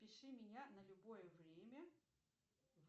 пиши меня на любое время